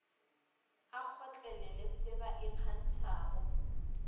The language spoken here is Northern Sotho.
a kgotlele se ba ikgantšhago